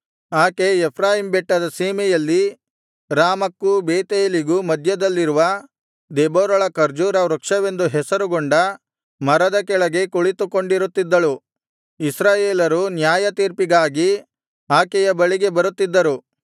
ಆಕೆ ಎಫ್ರಾಯೀಮ್ ಬೆಟ್ಟದ ಸೀಮೆಯಲ್ಲಿ ರಾಮಕ್ಕೂ ಬೇತೇಲಿಗೂ ಮಧ್ಯದಲ್ಲಿರುವ ದೆಬೋರಳ ಖರ್ಜೂರ ವೃಕ್ಷವೆಂದು ಹೆಸರುಗೊಂಡ ಮರದ ಕೆಳಗೆ ಕುಳಿತುಕೊಂಡಿರುತ್ತಿದ್ದಳು ಇಸ್ರಾಯೇಲರು ನ್ಯಾಯತೀರ್ಪಿಗಾಗಿ ಆಕೆಯ ಬಳಿಗೆ ಬರುತ್ತಿದ್ದರು